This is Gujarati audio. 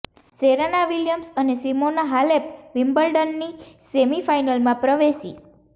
સેરેના વિલિયમ્સ અને સિમોના હાલેપ વિમ્બલ્ડનની સેમી ફાઇનલમાં પ્રવેશી